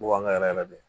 Bubaga yɛrɛ yɛrɛ de